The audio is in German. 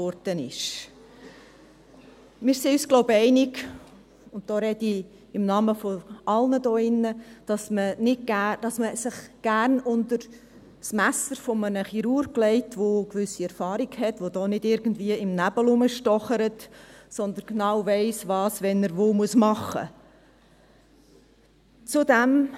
Wir sind uns einig – und da spreche ich im Namen von allen hier drin –, dass man sich gerne unter das Messer eines Chirurgen mit einer gewissen Erfahrung legt, der nicht irgendwo im Nebel herumstochert, sondern genau weiss, wann er wo was machen muss.